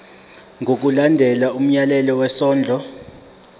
ngokulandela umyalelo wesondlo